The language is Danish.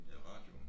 I radioen